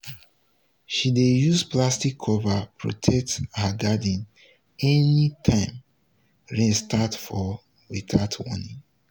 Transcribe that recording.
she dey use plastic cover protect her garden anytime rain start fall without warning.